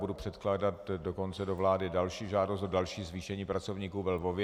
Budu předkládat dokonce do vlády další žádost o další zvýšení pracovníků ve Lvově.